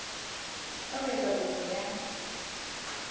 ka ho etsa kopo ya